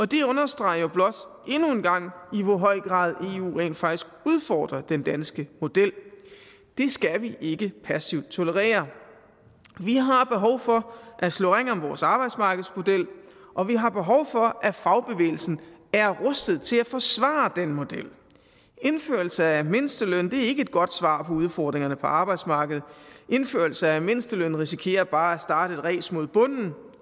det understreger jo blot endnu en gang i hvor høj grad eu rent faktisk udfordrer den danske model det skal vi ikke passivt tolerere vi har behov for at slå ring om vores arbejdsmarkedsmodel og vi har behov for at fagbevægelsen er rustet til at forsvare den model indførelse af mindsteløn er ikke et godt svar på udfordringerne på arbejdsmarkedet indførelse af mindsteløn risikerer bare at starte et race mod bunden